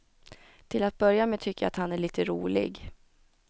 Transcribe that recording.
Till att börja med tycker jag att han är lite rolig.